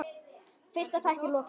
Fyrsta þætti er lokið.